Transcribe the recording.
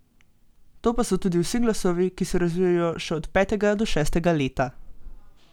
To pa so tudi vsi glasovi, ki se razvijejo še od petega do šestega leta.